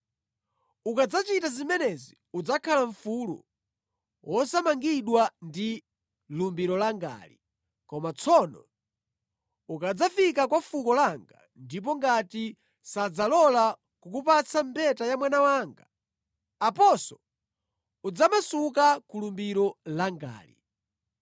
Ukadzachita zimenezi udzakhala mfulu wosamangidwa ndi lumbiro langali. Koma tsono ukadzafika kwa fuko langa, ndipo ngati sadzalola kukupatsa mbeta ya mwana wanga, aponso udzamasuka ku lumbiro langali.’ ”